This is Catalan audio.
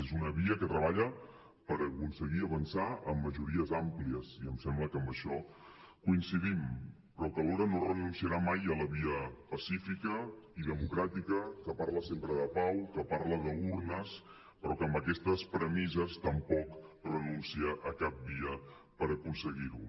és una via que treballa per aconseguir avançar amb majories àmplies i em sembla que en això coincidim però que alhora no renunciarà mai a la via pacífica i democràtica que parla sempre de pau que parla d’urnes però que amb aquestes pre·misses tampoc renuncia a cap via per aconseguir·ho